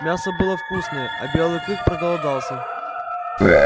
мясо было вкусное а белый клык проголодался